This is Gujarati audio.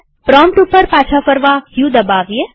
પ્રોમ્પ્ટ ઉપર પાછા ફરવા ક દબાવીએ